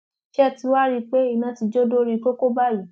ṣé ẹ ti wáá rí i pé iná ti jó dórí kókó báyìí